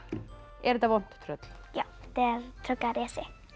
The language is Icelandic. er þetta vont tröll já tröllarisi